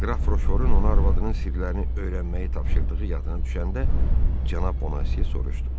Qraf Roşforun onu arvadının sirlərini öyrənməyi tapşırdığı yadına düşəndə cənab Boneziya soruşdu.